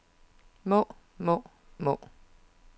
må må må